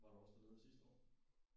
Var du også dernede sidste år?